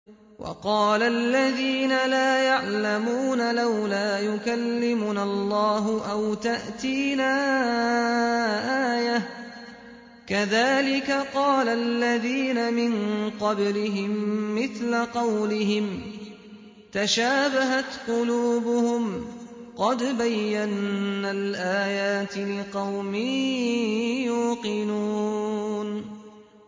وَقَالَ الَّذِينَ لَا يَعْلَمُونَ لَوْلَا يُكَلِّمُنَا اللَّهُ أَوْ تَأْتِينَا آيَةٌ ۗ كَذَٰلِكَ قَالَ الَّذِينَ مِن قَبْلِهِم مِّثْلَ قَوْلِهِمْ ۘ تَشَابَهَتْ قُلُوبُهُمْ ۗ قَدْ بَيَّنَّا الْآيَاتِ لِقَوْمٍ يُوقِنُونَ